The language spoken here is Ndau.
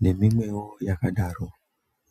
neimwewo yakadaro.